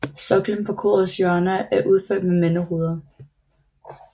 Soklen på korets hjørner er udført med mandehoveder